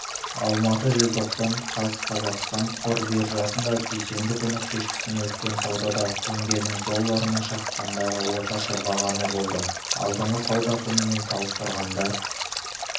алматы желтоқсан қаз қазақстан қор биржасында дүйсенбі күні кешкісін өткен саудада теңгенің долларына шаққандағы орташа бағамы болды алдыңғы сауда күнімен салыстырғанда